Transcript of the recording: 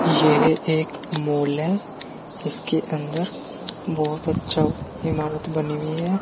यह एक मॉल है इसके अंदर बहुत अच्छा इमारत बनी हुई है।